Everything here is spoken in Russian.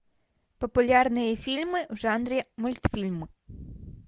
популярные фильмы в жанре мультфильм